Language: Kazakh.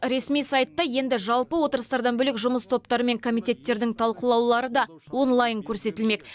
ресми сайтта енді жалпы отырыстардан бөлек жұмыс топтары мен комитеттердің талқылаулары да онлайн көрсетілмек